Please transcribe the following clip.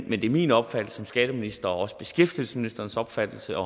men det er min opfattelse som skatteminister og også beskæftigelsesministerens opfattelse at